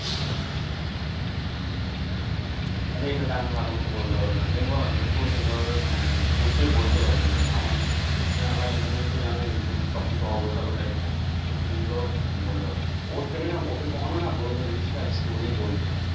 আরে এটা তো আমি ভালো মতো বলতে পারবো না তুমি বলো না তুমি খুব সুন্দর ভাবে মানে গুছিয়ে বলতে পারো জিনিস গুলো আমার তুমি আমার জানোই তো সব কিছু অগোছালো টাইপ থাকি তুমি সুন্দর বলতে পারবে ওর থেকে না ওকে কখনো না বলবে story বলতে